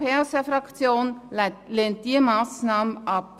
Die SP-JUSO-PSA-Fraktion lehnt diese Massnahme ab.